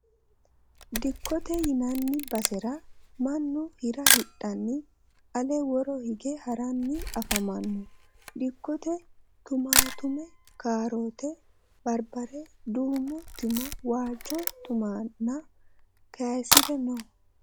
Dikkote yinanni basera mannu hira hidhanni ale woro hige haranni afamanno. Dikkote tumaatume, kaarote, barbare, duumu Tumi, waajju tuminna keyisire no.